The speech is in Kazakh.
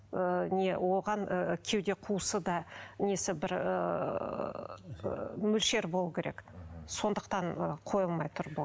ыыы не оған ы кеуде қуысы да несі бір ыыы мөлшер болу керек сондықтан ы қойылмай тұр бұл